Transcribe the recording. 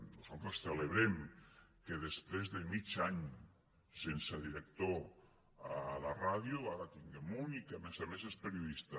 nosaltres celebrem que després de mig any sense director a la ràdio ara en tinguem un i que a més a més és periodista